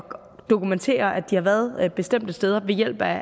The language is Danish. dokumentere at de har været bestemte steder med hjælp af